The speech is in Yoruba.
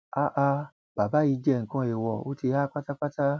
háà bàbá yìí jẹ nǹkan èèwọ ó ti há pátápátá